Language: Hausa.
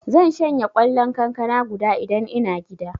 Zan shanye kwallon kankana guda Idan ina gida.